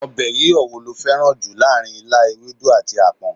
Ọbẹ̀ yíyọ wo lo fẹ́ràn jù láàárín ilá, ewedu, àti apon?